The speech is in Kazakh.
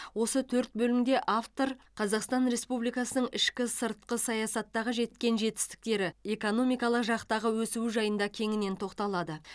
осы төрт бөлімде автор қазақстан республикасының ішкі сыртқы саясаттағы жеткен жетістіктері экономикалық жақтағы өсуі жайында кеңінен тоқталады